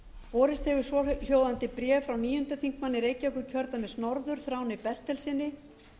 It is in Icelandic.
borist hefur svohljóðandi bréf frá háttvirtur níundi þingmaður reykjavíkurkjördæmis norður þráni bertelssyni